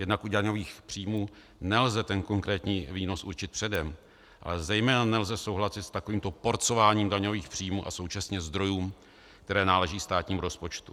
Jednak u daňových příjmů nelze ten konkrétní výnos určit předem, ale zejména nelze souhlasit s takovýmto porcováním daňových příjmů a současně zdrojů, které náleží státnímu rozpočtu.